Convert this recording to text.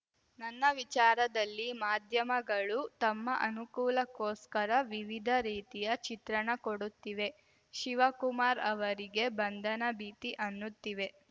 ನನ್ನ ವಿಚಾರದಲ್ಲಿ ಮಾಧ್ಯಮಗಳು ತಮ್ಮ ಅನುಕೂಲಕ್ಕೋಸ್ಕರ ವಿವಿಧ ರೀತಿಯ ಚಿತ್ರಣ ಕೊಡುತ್ತಿವೆ ಶಿವಕುಮಾರ್‌ ಅವರಿಗೆ ಬಂಧನ ಭೀತಿ ಅನ್ನುತ್ತಿವೆ